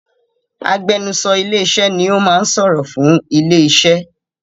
Agbẹnusọ ilé iṣẹ́ ni o máa sọ̀rọ̀ fún ilé iṣẹ́.